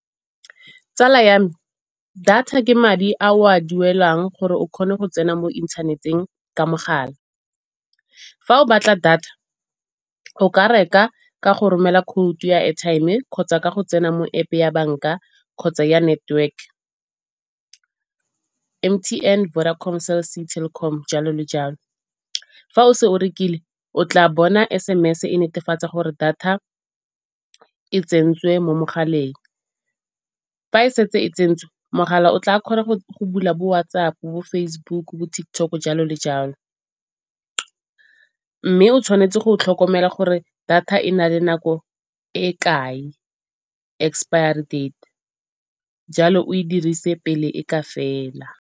Tsala ya me data ke madi ao a duelang gore o kgone go tsena mo inthaneteng ka mogala. Fa o batla data o ka reka ka go romela code ya airtime kgotsa ka go tsena mo App-e ya banka kgotsa ya network M_T_N, Vodacom, Cell-C, Telkom jalo le jalo. Fa o se o rekile o tla bona S_M_S-e e netefatsa gore data e tsentswe mo mogaleng. Fa e setse e tsentswe mogala o tla kgona go bula bo-WhatsApp, bo-Facebook, bo-TikTok, jalo le jalo. Mme o tshwanetse go tlhokomela gore data e na le nako e kae, expiry date jalo oe dirise pele e ka fela.